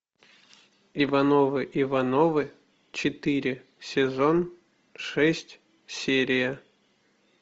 ивановы ивановы четыре сезон шесть серия